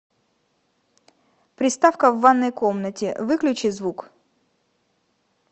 приставка в ванной комнате выключи звук